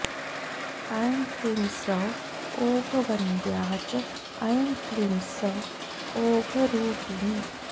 ऐं क्लीं सौः ओघवन्द्या च ऐं क्लीं सौः ओघरूपिणी